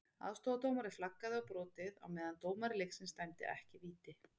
Aðstoðardómari flaggaði á brotið, á meðan dómari leiksins dæmdi ekki víti.